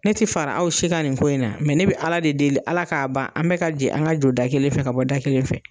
Ne ti fara aw si kan nin ko in na ne bɛ ALA de deli ALA k'a ban an bɛɛ ka jɛ an ka don da kelen fɛ an ka bɔ da kelen fɛ.